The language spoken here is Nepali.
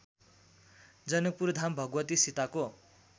जनकपुरधाम भगवती सीताको